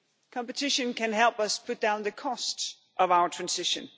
Competition can help us bring down the cost of our transition.